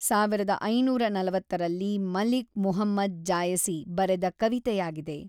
ಸಾವಿರದ ಐನೂರ ನಲವತ್ತರಲ್ಲಿ ಮಲಿಕ್ ಮುಹಮ್ಮದ್ ಜಾಯಸಿ ಬರೆದ ಕವಿತೆಯಾಗಿದೆ.